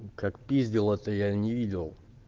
как пиздил это я не видел